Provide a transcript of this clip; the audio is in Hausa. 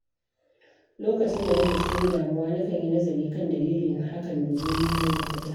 Lokacin da nake cikin damuwa, nakan yi nazari kan dalilin hakan domin nemo mafita.